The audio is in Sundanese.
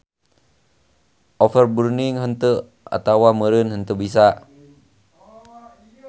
Overburning henteu atawa meureun henteu bisa.